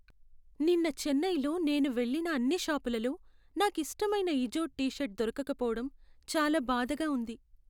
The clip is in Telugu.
నిన్న చెన్నైలో నేను వెళ్లిన అన్ని షాపులలో, నాకు ఇష్టమైన ఇజోడ్ టీ షర్టు దొరకకపోవటం చాలా బాధగా ఉంది.